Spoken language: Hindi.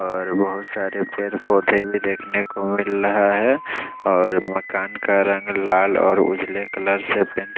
और बहोत सारे पेड़ पौधे भी देखने को मिल रहा है और मकान का रंग लाल और उजले कलर से पेंट --